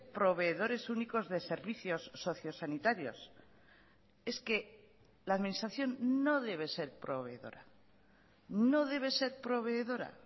proveedores únicos de servicios socio sanitarios es que la administración no debe ser proveedora no debe ser proveedora